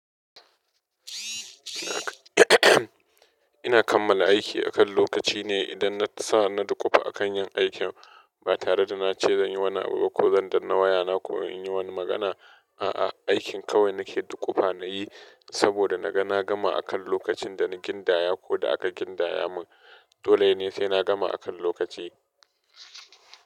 Ina kammala aiki akan lokaci ne idan na sa na dukufa a kan yin aikin ba tare da na ce zan yi wani abu ba ko zan danna wayana ko in yi wani magana, a'a, aikin kawai nake dukufa na yi saboda na ga na gama akan lokacin da na gindaya ko da aka gindaya mun. Dole ne sai na gama akan lokaci.